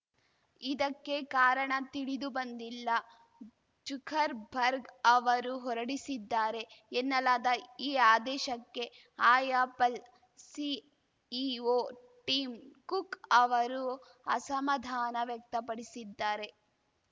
ಇದಕ್ಕೆ ಕಾರಣ ತಿಳಿದುಬಂದಿಲ್ಲ ಜುಕರ್‌ ಬರ್ಗ್‌ ಅವರು ಹೊರಡಿಸಿದ್ದಾರೆ ಎನ್ನಲಾದ ಈ ಆದೇಶಕ್ಕೆ ಆ್ಯಪಲ್‌ ಸಿಇಒ ಟಿಮ್‌ ಕುಕ್‌ ಅವರು ಅಸಮಾಧಾನ ವ್ಯಕ್ತಪಡಿಸಿದ್ದಾರೆ